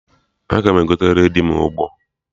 Aga m egotere dị m Ụgbọ